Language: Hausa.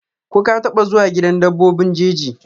ko ka taba zuwa gidan dabbobi jeji?